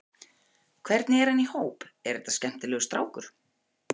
Hvernig er hann í hóp, er þetta skemmtilegur strákur?